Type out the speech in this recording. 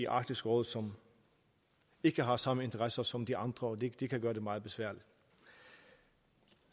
arktisk råd som ikke har samme interesser som de andre og det kan gøre det meget besværligt